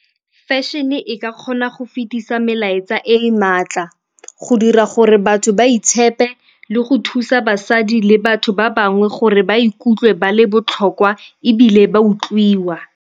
Fashion-e e ka kgona go fetisa melaetsa e e maatla go dira gore batho ba itshepe, le go thusa basadi le batho ba bangwe gore ba ikutlwe ba le botlhokwa ebile ba utlwiwa.